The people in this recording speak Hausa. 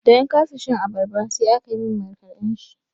Da na kasa shan abarba sai aka yi min markaɗan shi.